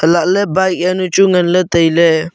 halahle bike jawnu chu nganley tailey.